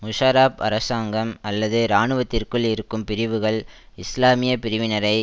முஷாரப் அரசாங்கம் அல்லது இராணுவத்திற்குள் இருக்கும் பிரிவுகள் இஸ்லாமிய பிரிவினரை